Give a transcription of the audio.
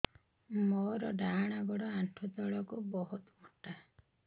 ମୋର ଡାହାଣ ଗୋଡ ଆଣ୍ଠୁ ତଳୁକୁ ବହୁତ ମୋଟା